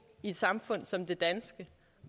i et samfund som det danske